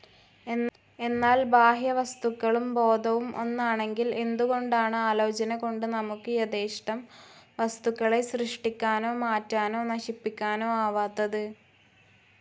എന്നാൽ, ബാഹ്യവസ്തുക്കളും ബോധവും ഒന്നാണെങ്കിൽ എന്തുകൊണ്ടാണ് ആലോചനകൊണ്ട്, നമുക്ക് യഥേഷ്ടം വസ്തുക്കളെ സൃഷ്ടിക്കാനോ, മാറ്റാനൊ, നശിപ്പിക്കനോ ആവാത്തത്?